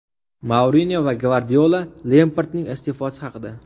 Mourinyo va Gvardiola Lempardning iste’fosi haqida.